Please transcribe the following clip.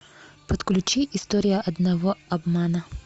подключи история одного обмана